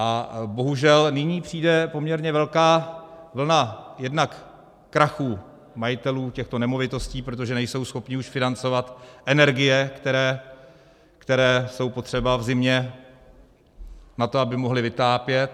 A bohužel, nyní přijde poměrně velká vlna jednak krachů majitelů těchto nemovitostí, protože nejsou schopni už financovat energie, které jsou potřeba v zimě na to, aby mohli vytápět.